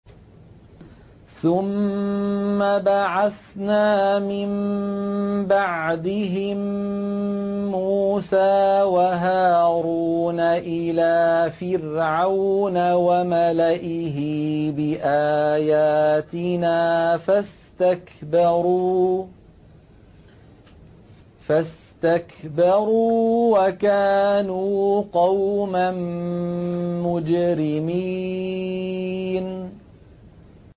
ثُمَّ بَعَثْنَا مِن بَعْدِهِم مُّوسَىٰ وَهَارُونَ إِلَىٰ فِرْعَوْنَ وَمَلَئِهِ بِآيَاتِنَا فَاسْتَكْبَرُوا وَكَانُوا قَوْمًا مُّجْرِمِينَ